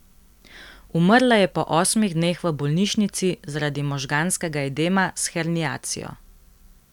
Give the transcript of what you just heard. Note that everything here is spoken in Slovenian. Umrla je po osmih dneh v bolnišnici zaradi možganskega edema s herniacijo.